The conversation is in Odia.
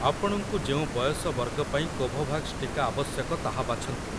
ଆପଣଙ୍କୁ ଯେଉଁ ବୟସ ବର୍ଗ ପାଇଁ କୋଭୋଭାକ୍ସ ଟିକା ଆବଶ୍ୟକ ତାହା ବାଛନ୍ତୁ ।